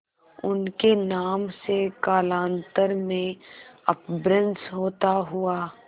उनके नाम से कालांतर में अपभ्रंश होता हुआ